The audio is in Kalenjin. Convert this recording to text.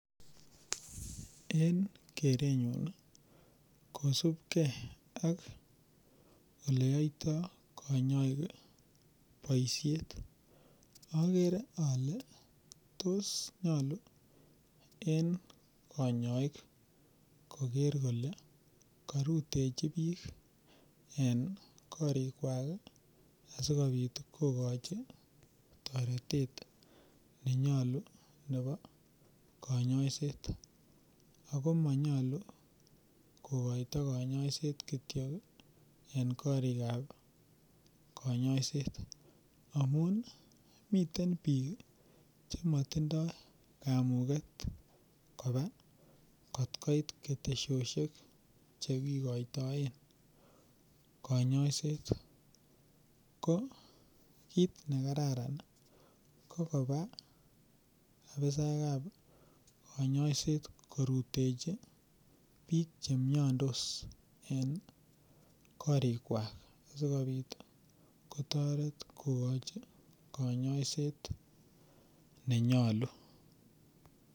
Eng' kerenyun kosupkei ak ole yoto konyoik boishet agere ale tos nyolu en kayoek koger kole karutechi biik en korikwak asikobit kokochi toretet nenyolu nebo kanyaiset ako manyalu kokoto kanyaiset kityo en korikab kanyaiset amun mitein biik chematindoi kamuget koba kotkoit ketesioshek chekikoitoe kanyaiset ko kit nekararan kokoba ofisaekab kanyaiset korutechi biik chemyondos eng' korikwak asikobit kotoret kokoch kanyaiset nenyolu